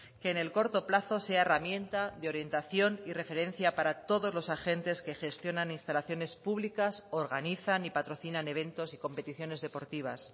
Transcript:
que en el corto plazo sea herramienta de orientación y referencia para todos los agentes que gestionan instalaciones públicas organizan y patrocinan eventos y competiciones deportivas